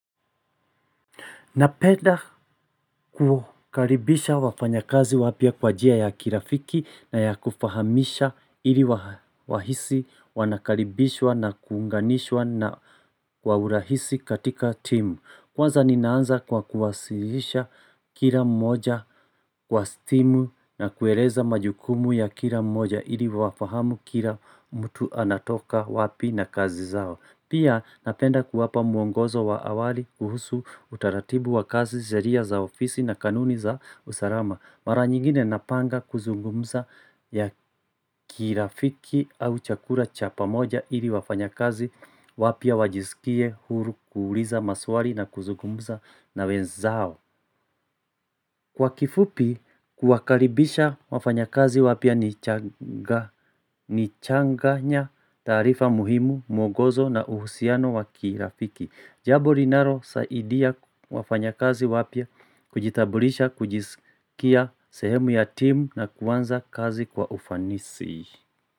Napenda kukaribisha wafanya kazi wapya kwan jia ya kirafiki na ya kufahamisha ili wahisi wanakaribishwa na kuunganishwa na kwa urahisi katika timu. Kwanza ninaanza kwa kuwasihisha kila mmoja kwa simu na kueleza majukumu ya kila mmoja ili wafahamu kila mtu anatoka wapi na kazi zao. Pia napenda kuwapa muongozo wa awali kuhusu utaratibu wa kazi sheria za ofisi na kanuni za usalama. Mara nyingine napanga kuzungumza ya kirafiki au chakula cha pa moja ili wafanya kazi wapya wajisikie huru kuuliza maswali na kuzungumza na wenzao. Kwa kifupi, kuakaribisha wafanya kazi wapya ni changanya taarifa muhimu, mwongozo na uhusiano wakirafiki. Jambo linalo saidia wafanya kazi wapya, kujitambulisha, kujisikia sehemu ya timu na kuanza kazi kwa ufanisi.